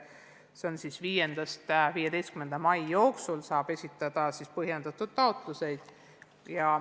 Sellega seoses saab 5.–15. maini esitada põhjendatud taotlusi.